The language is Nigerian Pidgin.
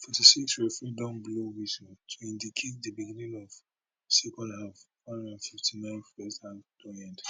forty six referee don blow whistle to indicate di beginning of second half four hundred and fifty nine first half don end